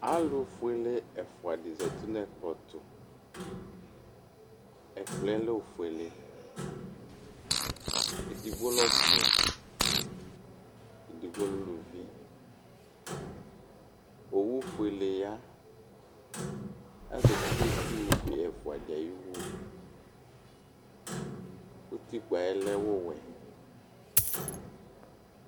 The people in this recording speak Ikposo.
Alʋ fuele ɛfʋa dini zati nʋ ɛkplɔ tʋ ɛkplɔɛ efuele edigbo lɛ ɔsi edigbo lɛ ʋlʋvi owʋ fuele ya azati nʋ itsʋ be ɛfʋadi ayiwʋ utikpa yɛlɛ wʋwɛ